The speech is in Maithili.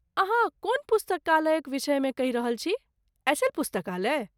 अहाँ कोन पुस्तकालयक विषयमे कहि रहल छी, एस.एल. पुस्तकालय?